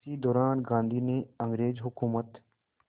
इसी दौरान गांधी ने अंग्रेज़ हुकूमत